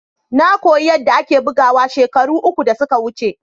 Na koyi yadda ake bugawa shekaru uku da suka wuce.